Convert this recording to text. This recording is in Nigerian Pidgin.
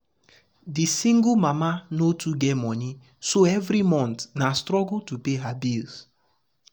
the single mama no too get money so every month na struggle to pay her bills.